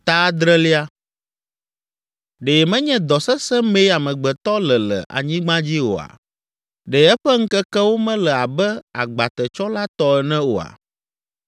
“Ɖe menye dɔ sesẽ mee amegbetɔ le le anyigba dzi oa? Ɖe eƒe ŋkekewo mele abe agbatetsɔla tɔ ene oa?